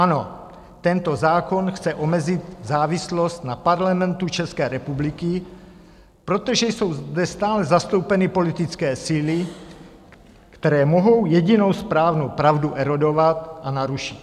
Ano, tento zákon chce omezit závislost na Parlamentu České republiky, protože jsou zde stále zastoupeny politické síly, které mohou jedinou správnou pravdu erodovat a narušit.